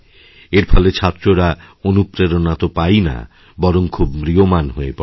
এর ফলে ছাত্ররা অনুপ্রেরণা তো পায়ই না বরং খুব ম্রিয়মাণহয়ে পড়ে